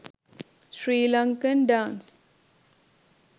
sri lankan dance